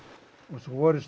svo voru